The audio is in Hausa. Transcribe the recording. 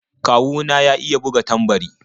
Kawu na ya iya buga tambari.